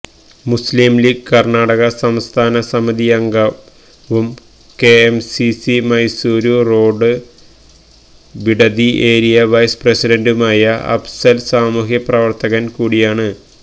മുസ്ലിം ലീഗ് കര്ണാടക സംസ്ഥാന സമിതിയംഗവും KMCC Mysuru road Bidadi area vice പ്രസിഡന്റുമായ അഫ്സല് സാമൂഹികപ്രവര്ത്തകന് കൂടിയാണ്